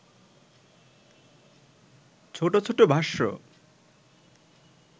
ছোট ছোট ভাষ্য